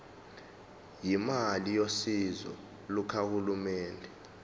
imali yosizo lukahulumeni